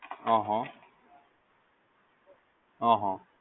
હહ હહ